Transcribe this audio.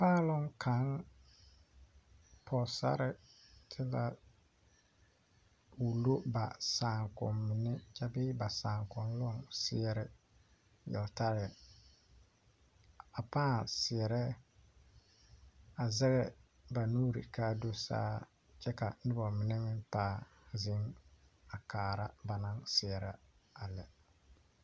Paaloŋ kaŋ Pɔgeserati la wulo ba saakomine kyɛ bee ba saakonnee seɛre yeltaare a paa seɛrɛ a zage ba nuure waa do saa kyɛ ka ba mine meŋ paa zeŋ a kaara ba naŋ seɛrɛ a lɛ.